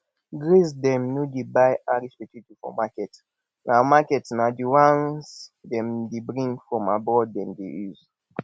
grace dem no dey buy irish potato for market na market na the ones dem dey bring from abroad dem dey use